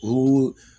O